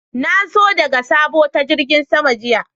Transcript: Na zo daga sabo ta jirigin sama jiya.